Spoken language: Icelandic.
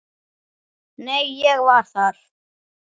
Nei, ég var þar